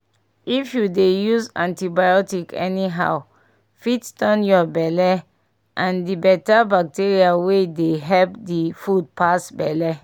if you to dey use antibiotics anyhow fit turn your belle and the better bacteria wey dey help d food pass belle